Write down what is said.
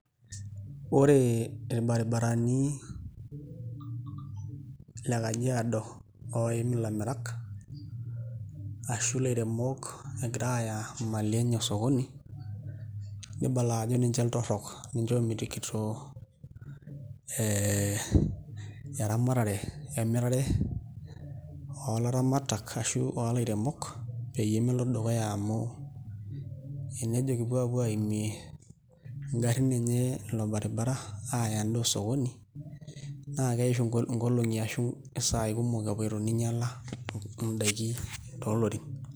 Ore irbaribarani le Kajiado ooim ilairemok egira aaya imali enye osokoni nibala ajo ninche iltorrook ninche oomitikito ee eramatare emirare oolaramatak ashu ilairemok enejo kipuo aapuo aaimie ngarrin enye ilo baribara aaya endaa osokoni naa keisho ngolong'i ashu isaai kumok epoito ninyiala ndaiki toolorin.